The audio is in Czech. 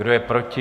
Kdo je proti?